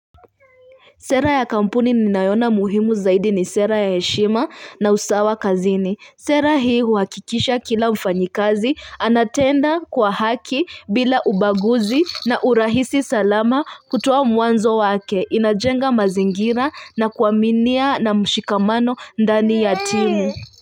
Sera ya kampuni ninayoona muhimu zaidi ni sera ya heshima na usawa kazini. Sera hii huhakikisha kila mfanyikazi anatenda kwa haki bila ubaguzi na urahisi salama kutoa mwanzo wake inajenga mazingira na kuaminia na mshikamano ndani ya timu.